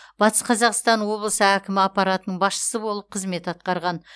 батыс қазақстан облысы әкімі аппаратының басшысы болып қызмет атқарған